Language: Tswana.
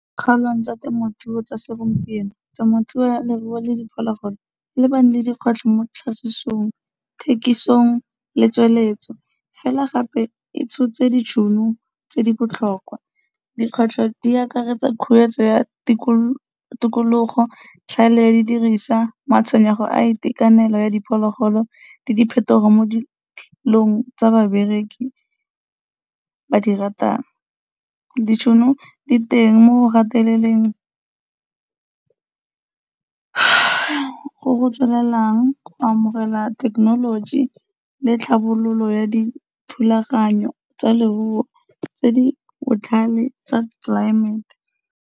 Kgaolo tsa temothuo tsa segompieno, temothuo ya leruo le diphologolo dikgwetlho mo ditlhagisong, thekisong le tsweletso fela gape e tshotse ditšhono tse di botlhokwa. Dikgwetlho di akaretsa khuetso ya tikologo, tlhaedi ya di diriswa, matshwenyego a itakenelo ya diphologolo le di phetogo mo dilong tsa bereki ba di ratang. Ditšhono di teng mo go gateleleng go go tswelelang go amogela thekenoloji le tlhabololo ya di thulaganyo tsa leruo tse di botlhale tsa tlelaemete.